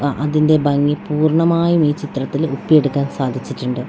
അ അതിന്റെ ഭംഗി പൂർണ്ണമായും ഈ ചിത്രത്തില് ഒപ്പിയെടുക്കാൻ സാധിച്ചിട്ടുണ്ട് .